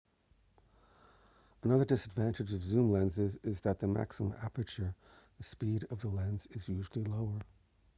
another disadvantage of zoom lenses is that the maximum aperture the speed of the lens is usually lower